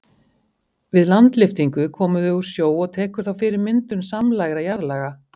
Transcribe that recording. Við landlyftingu koma þau úr sjó og tekur þá fyrir myndun samlægra jarðlaga.